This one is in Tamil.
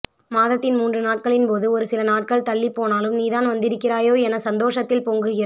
மாதத்தின் மூன்று நாட்களின் போது ஒரு சில நாட்கள் தள்ளிப்போனாலும் நீ தான் வந்திருக்கிறாயோ என சந்தோஷத்தில் பொங்குகிற